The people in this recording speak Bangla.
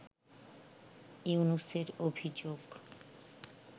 ইউনূসের অভিযোগ